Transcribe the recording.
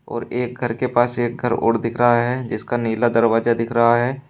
और एक घर के पास एक घर और दिख रहा है जिसका नीला दरवाजा दिख रहा है।